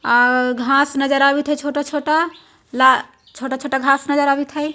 घास नजर आवित् है छोटा छोटा छोटा छोटा घास नजर आवित है।